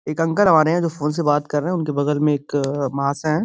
एक अंकल हमारे है जो फ़ोन से बात कर रहे है उनके बगल में एक महाशय हैं।